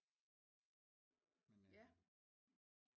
Ja